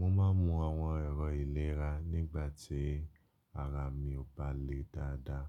Mo ma ń mú àwọn ẹ̀rọ ìlera nígbà tí ara mi ò bá le dáadáa,